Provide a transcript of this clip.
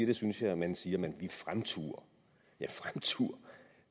det synes jeg når man siger at vi fremturer ja fremturer